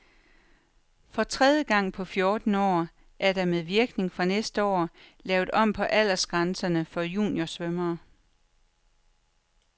For tredje gang på fjorten år er der med virkning fra næste år lavet om på aldersgrænserne for juniorsvømmere.